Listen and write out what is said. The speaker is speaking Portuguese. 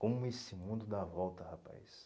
Como esse mundo dá volta, rapaz.